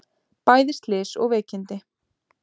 Bæði slys og veikindi